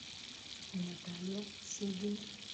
наталья седина